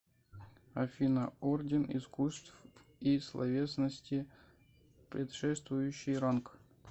афина орден искусств и словесности предшествующий ранг